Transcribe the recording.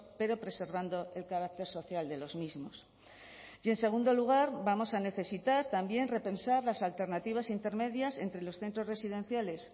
pero preservando el carácter social de los mismos y en segundo lugar vamos a necesitar también repensar las alternativas intermedias entre los centros residenciales